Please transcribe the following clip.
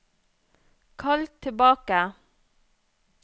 kall tilbake